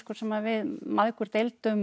sem við mæðgur deildum